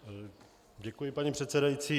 Děkuji, paní předsedající.